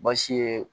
Baasi ye